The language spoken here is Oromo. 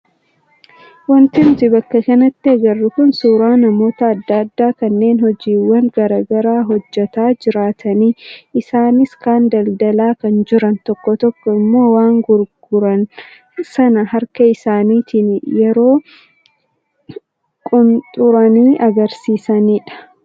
Wanti nuti bakka kanatti agarru kun suuraa namoota adda addaa kanneen hojiiwwan garaagaraa hojjataa jiraniiti. Isaanis kaan daldalaa kan jiran, tokko tokko immoo waan gurguran sana harka isaaniitiin yeroo qunxuranii agarsiisanidha.